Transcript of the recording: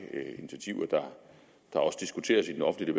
initiativer der også diskuteres i den offentlige